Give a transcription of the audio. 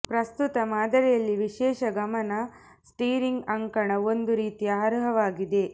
ಪ್ರಸ್ತುತ ಮಾದರಿಯಲ್ಲಿ ವಿಶೇಷ ಗಮನ ಸ್ಟೀರಿಂಗ್ ಅಂಕಣ ಒಂದು ರೀತಿಯ ಅರ್ಹವಾಗಿದೆ